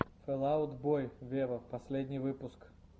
фэл аут бой вево последний выпуск